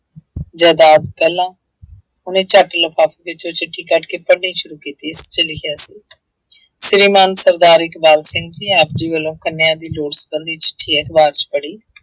ਜ਼ਾਇਦਾਦ ਪਹਿਲਾਂ ਉਹਨੇ ਝੱਟ ਲਿਫ਼ਾਫ਼ੇ ਵਿੱਚੋਂ ਚਿੱਠੀ ਕੱਢ ਕੇ ਪੜ੍ਹਨੀ ਸ਼ੁਰੂ ਕੀਤੀ, ਜਿਹ ਚ ਲਿਖਿਆ ਸੀ ਸ੍ਰੀ ਮਾਨ ਸਰਦਾਰ ਇਕਬਾਲ ਸਿੰਘ ਜੀ ਆਪ ਜੀ ਵੱਲੋਂ ਕੰਨਿਆ ਦੀ ਲੋੜ ਸੰਬੰਧੀ ਚਿੱਠੀ ਅਖ਼ਬਾਰ ਵਿੱਚ ਪੜ੍ਹੀ।